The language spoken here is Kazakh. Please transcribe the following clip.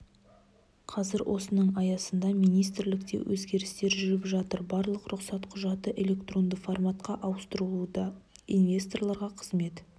қазір осының аясында министрлікте өзгерістер жүріп жатыр барлық рұқсат құжаты электронды форматқа ауыстырылуда инвесторларға қызмет